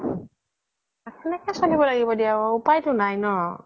সেনেকে চ্লিব লাগিব দিয়া উপাই তো নাই ন